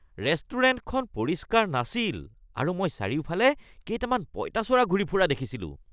ৰেষ্টুৰেণ্টখন পৰিষ্কাৰ নাছিল আৰু মই চাৰিওফালে কেইটামান পঁইতাচোৰা ঘূৰি ফুৰা দেখিছিলোঁ (খাদ্য সমালোচক)